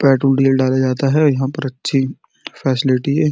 Petrol diesel डाला जाता है। यहाँ पर अच्छी फैसीलिटी है।